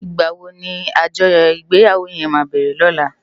Igbáwó ni ájòyò igbèyáwó yèn má bèrè lòlá?